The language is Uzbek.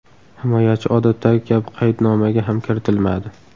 Himoyachi odatdagi kabi qaydnomaga ham kiritilmadi.